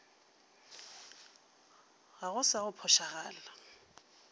ga go sa go phošagala